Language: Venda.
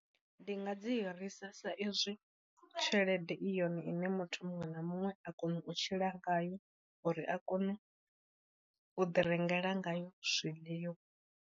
Ndi nga dzi hirisa sa izwi tshelede i yone ine muthu muṅwe na muṅwe a kona u tshila ngayo uri a kone u ḓi rengela ngayo zwiḽiwa.